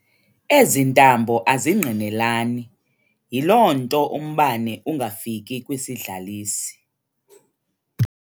Ezi ntambo azingqinelani, yiloo nto umbane ungafiki kwisidlalisi.